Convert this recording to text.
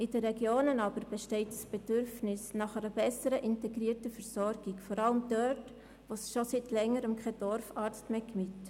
In den Regionen besteht das Bedürfnis nach einer besseren integrierten Versorgung, vor allem dort, wo es schon seit Längerem keinen Dorfarzt mehr gibt.